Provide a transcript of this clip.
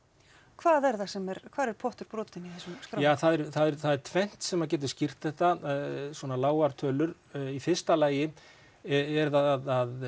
hvað er það sem er hvar er pottur brotinn í þessum ja það er tvennt sem getur skýrt þetta svona lágar tölur í fyrsta lagi er það að